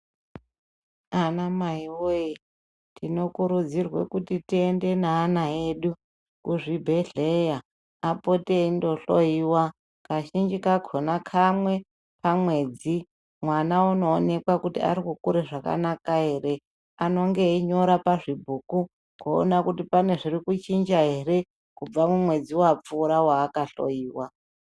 Anamai woyee! Tinokurudzirwe kuti tiende neana edu kuzvibhedhleya apote eindohloyiwa. Kazhinji kakona kamwe pamwedzi mwana unoonekwa kuti mari kukura zvakanaka here. Anonge einyora pazvibhuku kuona kuti pane zviri kuchinja here kubva mumwedzi wapfuura waakahloyiwa.